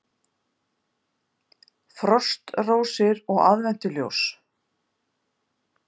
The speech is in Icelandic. Frostrósir og aðventuljós